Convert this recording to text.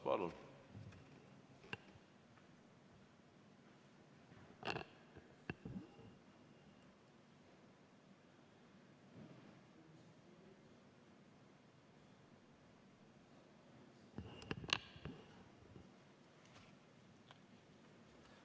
Palun!